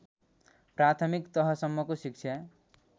प्राथमिक तहसम्मको शिक्षा